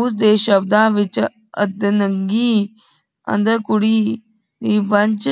ਉਸ ਦੇ ਸ਼ਬਦਾਂ ਵਿਚ ਅੱਧਨੰਗੀ ਅੰਧਰ ਕੁਢ਼ੀ ਦੀ ਬੰਨਚ